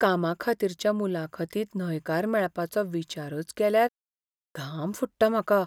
कामाखातीरच्या मुलाखतींत न्हयकार मेळपाचो विचारच केल्यार घाम फुट्टा म्हाका.